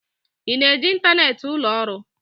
Ị na-eji ịntanetị ụlọ ọrụ?